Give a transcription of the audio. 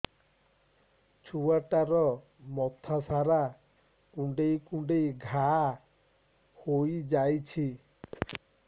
ଛୁଆଟାର ମଥା ସାରା କୁଂଡେଇ କୁଂଡେଇ ଘାଆ ହୋଇ ଯାଇଛି